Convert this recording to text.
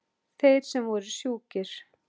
Þeir sem voru sjúkir.